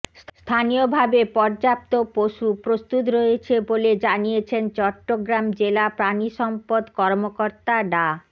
স্থানীয়ভাবে পর্যাপ্ত পশু প্রস্তুত রয়েছে বলে জানিয়েছেন চট্টগ্রাম জেলা প্রাণিসম্পদ কর্মকর্তা ডা